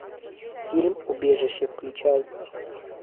фильм убежище включай